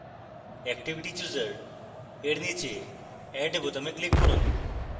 activity chooser এর নীচে add বোতামে click করুন